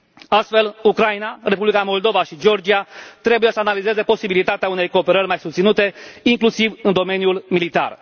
Astfel, Ucraina, Republica Moldova și Georgia trebuie să analizeze posibilitatea unei cooperări mai susținute, inclusiv în domeniul militar.